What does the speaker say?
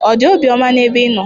Ọ dị obiọma n'ebe ị nọ?